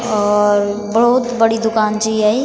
और बहौत बड़ी दूकान चा याई।